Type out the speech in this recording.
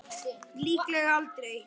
Líklega aldrei.